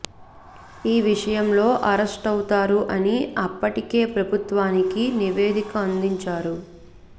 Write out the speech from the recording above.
ఈ విషయంలో అరెస్ట్ అవుతారు అని అప్పటికే ప్రభుత్వానికి నివేదిక అందించారు